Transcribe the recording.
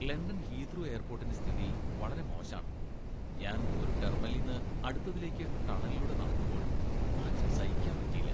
London Heathrow എയർപോർട്ടിന്റെ സ്ഥിതി വളരെ മോശാണ്. ഞാൻ ഒരു ടെർമിനലിന്ന് അടുത്തതിലേക്ക് ടണലിലൂടെ നടക്കുമ്പോൾ, നാറ്റം സഹിക്കാന് പറ്റീല.